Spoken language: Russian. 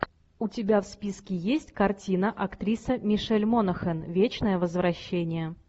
у тебя в списке есть картина актриса мишель монахэн вечное возвращение